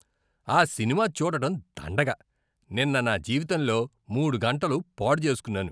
ఆ సినిమా చూడటం దండగ. నిన్న నా జీవితంలో మూడు గంటలు పాడు చేసుకున్నాను